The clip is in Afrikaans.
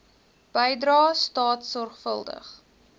bydrae staat sorgvuldig